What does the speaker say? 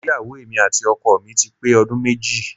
Ìgbéyàwó èmi àti ọkọ mi ti pé ọdún méjì